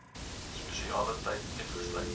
spesiale tyd uitgesit